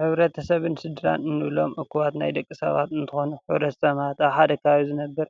ሕብረተሰብን ስድራን እንብሎም እኩባት ናይ ደቂ ሰባት እንትኮኑ ሕ/ሰብ ማለት ኣብ ሓደ ከባቢ ዝነብር